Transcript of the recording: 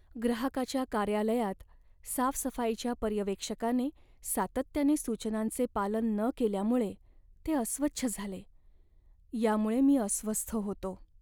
ग्राहकाच्या कार्यालयात साफसफाईच्या पर्यवेक्षकाने सातत्याने सूचनांचे पालन न केल्यामुळे ते अस्वच्छ झाले, यामुळे मी अस्वस्थ होतो.